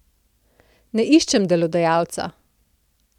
Ne iščem delodajalca.